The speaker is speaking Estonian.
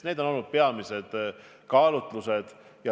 Need on olnud peamised kaalutlused.